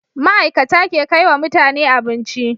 Ma'ikata ke kaiwa mutane abinci